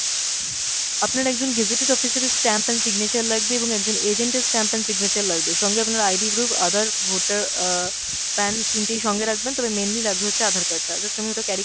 আপনার একজন gazetted officer এর stamp and signature লাগবে এবং একজন agent এর stamp and signature লাগবে, সঙ্গে আপনার ID proof, aadhar voter অ্যাঁ PAN তিনটেই সঙ্গে রাখবেন, তবে mainly লাগবে হচ্ছে aadhar card টা। just আমি ওটা carry